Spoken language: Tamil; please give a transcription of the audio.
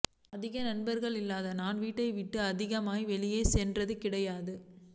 அதிகம் நண்பர்கள் இல்லாத நான் வீட்டை விட்டும் அதிகம் வெளியே சென்றது கிடையாது